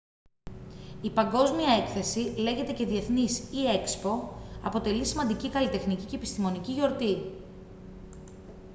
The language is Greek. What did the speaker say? η παγκόσμια έκθεση λέγεται και διεθνής ή expo αποτελεί σημαντική καλλιτεχνική και επιστημονική γιορτή